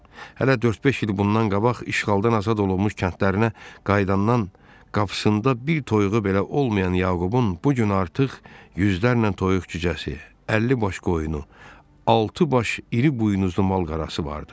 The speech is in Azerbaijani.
Hələ dörd-beş il bundan qabaq işğaldan azad olunmuş kəndlərinə qayıdandan qapısında bir toyuğu belə olmayan Yaqubun bu gün artıq yüzlərlə toyuq-cücəsi, əlli baş qoyunu, altı baş iri buynuzlu mal-qarası vardı.